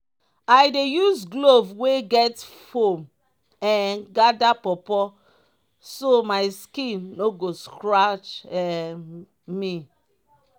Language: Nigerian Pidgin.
i dey use glove wey get foam um gather pawpaw so my skin no go scratch um me.